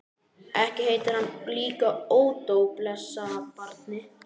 Ekki heitir hann líka Ódó, blessað barnið.